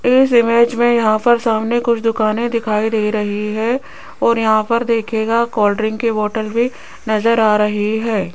इस इमेज में यहां पर सामने कुछ दुकान दिखाई दे रही है और यहां पर देखिएगा कोल्ड ड्रिंक की बॉटल भी नजर आ रही है।